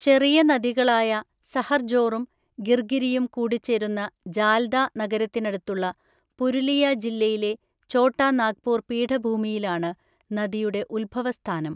ചെറിയ നദികളായ സഹർജോറും, ഗിർഗിരിയും കൂടിച്ചേരുന്ന ജാൽദ നഗരത്തിനടുത്തുള്ള പുരുലിയ ജില്ലയിലെ, ചോട്ടാ നാഗ്പൂർ പീഠഭൂമിയിലാണ് നദിയുടെ ഉത്ഭവസ്ഥാനം.